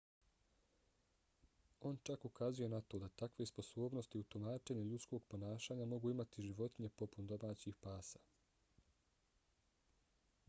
on čak ukazuje na to da takve sposobnosti u tumačenju ljudskog ponašanja mogu imati životinje poput domaćih pasa